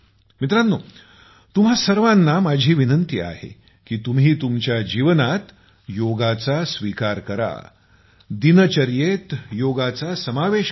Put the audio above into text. मित्रांनो तुम्हां सर्वांना माझी आग्रहपूर्वक विनंती आहे की तुम्ही तुमच्या जीवनात योगाचा स्वीकार करा दिनचर्येत योगाचा समावेश करा